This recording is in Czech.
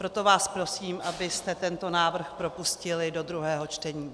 Proto vás prosím, abyste tento návrh propustili do druhého čtení.